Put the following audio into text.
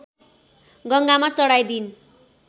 गङ्गामा चढाइदिइन्